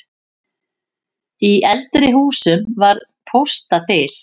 Í eldri húsum var póstaþil.